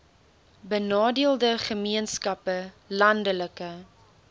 benadeelde gemeenskappe landelike